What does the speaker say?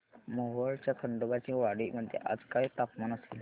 मोहोळच्या खंडोबाची वाडी मध्ये आज काय तापमान असेल